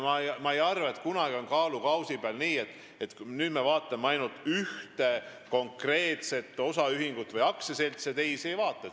Ma ei arva, et kunagi hakkab kaalukausi peal olema nii, et nüüd me vaatame ainult ühte konkreetset osaühingut või aktsiaseltsi ja teisi ei vaata.